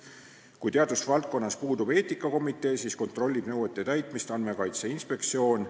Kui teadusvaldkonnas eetikakomitee puudub, siis kontrollib nõuete täitmist Andmekaitse Inspektsioon.